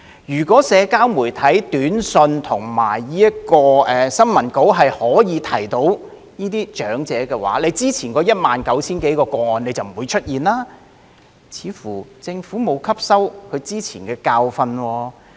如果社交媒體、短訊及新聞稿可以提醒到這些長者，之前那19000多宗個案就不會出現，似乎政府並無吸收之前的教訓。